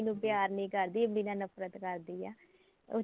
ਨੂੰ ਪਿਆਰ ਨੀ ਕਰਦੀ ਇਮਲੀ ਨਾਲ ਨਫਰਤ ਕਰਦੀ ਏ ਉਹ